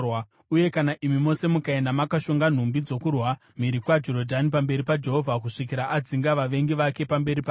uye kana imi mose mukaenda makashonga nhumbi dzokurwa mhiri kwaJorodhani pamberi paJehovha kusvikira adzinga vavengi vake pamberi pake,